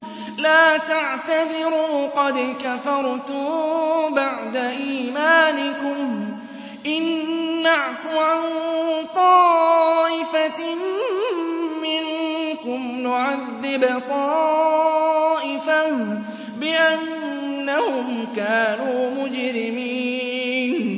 لَا تَعْتَذِرُوا قَدْ كَفَرْتُم بَعْدَ إِيمَانِكُمْ ۚ إِن نَّعْفُ عَن طَائِفَةٍ مِّنكُمْ نُعَذِّبْ طَائِفَةً بِأَنَّهُمْ كَانُوا مُجْرِمِينَ